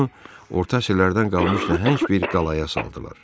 Onu orta əsrlərdən qalmış nəhəng bir qalaya saldılar.